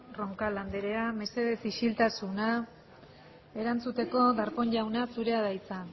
roncal anderea mesedez isiltasuna erantzuteko darpón jauna zurea da hitza